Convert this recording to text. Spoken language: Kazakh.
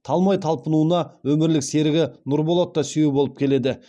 талмай талпынуына өмірлік серігі нұрболат та сүйеу болып келеді